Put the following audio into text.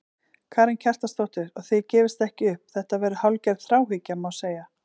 Karen Kjartansdóttir: Og þið gefist ekki upp, þetta verður hálfgerð þráhyggja, má segja?